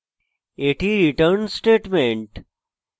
এটি return statement